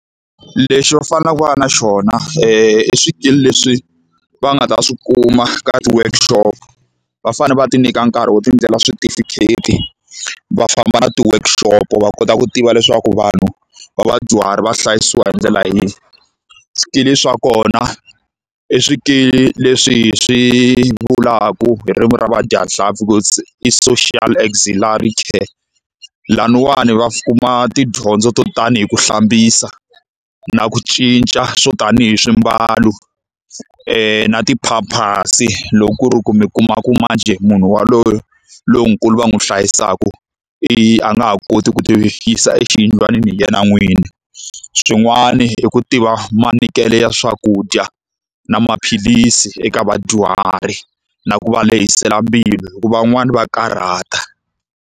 Lexi va faneleke va va na xona i swikili leswi va nga ta swi kuma ka ti-workshop. Va fanele va ti nyika nkarhi wo tindlela switifikheti, va famba na ti-workshop va kota ku tiva leswaku vanhu va vadyuhari va hlayisiwa hi ndlela yihi. Swikili swa kona i swikili leswi hi swi vulaka hi ririmi ra vadyanhlampfi ku i social auxiliary care. Laniwani va kuma tidyondzo to tani hi ku hlambisa, na ku cinca swo tanihi swimbalo, na ti-pampers-i loko ku ri ku mi kuma ku manjhe munhu yaloye lonkulu va n'wi hlayisaka i a nga ha koti ku ti yisa exiyindlwanini hi yena n'wini. Swin'wani i ku tiva manyikelo ya swakudya, na maphilisi eka vadyuhari, na ku va lehisela mbilu hikuva van'wani va karhata.